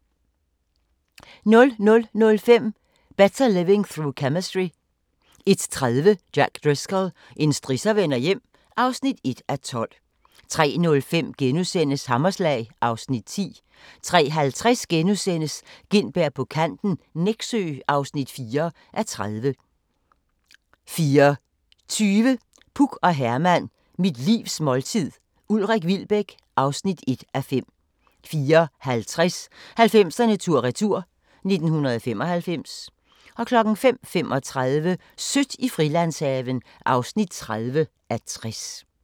00:05: Better Living Through Chemistry 01:30: Jack Driscoll – en strisser vender hjem (1:12) 03:05: Hammerslag (Afs. 10)* 03:50: Gintberg på kanten - Nexø (4:30)* 04:20: Puk og Herman – mit livs måltid - Ulrik Wilbek (1:5) 04:50: 90'erne tur-retur: 1995 05:35: Sødt i Frilandshaven (30:60)